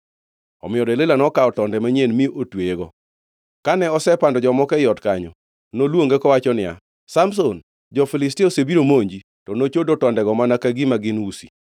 Omiyo Delila nokawo tonde manyien mi otweyego. Kane osepando jomoko ei ot kanyo, noluonge kowacho niya, “Samson, jo-Filistia osebiro monji!” To nochodo tondego mana ka gima gin usi.